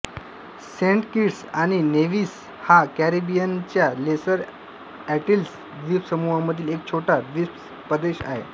Saint Kitts आणि Nevis हा कॅरिबियनच्या लेसर अँटिल्स द्वीपसमूहामधील एक छोटा द्वीपदेश आहे